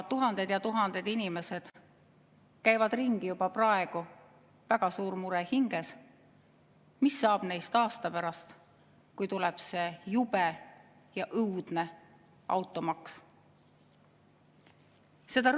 Tuhanded ja tuhanded inimesed käivad juba praegu ringi väga suure murega hinges: mis saab neist aasta pärast, kui tuleb see jube ja õudne automaks?